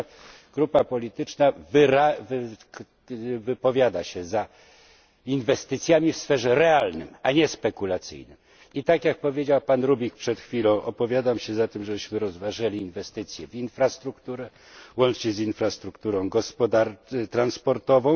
Nasza grupa polityczna wypowiada się za inwestycjami w sferze realnej, a nie spekulacyjnej, i tak jak powiedział pan Rübig przed chwilą, opowiadam się za tym, żebyśmy rozważyli inwestycję w infrastrukturę, łącznie z infrastrukturą transportową.